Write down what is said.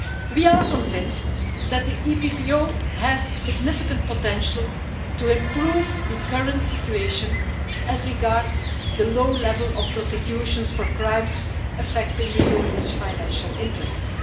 We are convinced that the EPPO has significant potential to improve the current situation as regards the low level of prosecutions for crimes affecting the Union's financial interests.